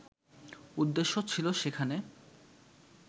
উদ্দেশ্য ছিল সেখানে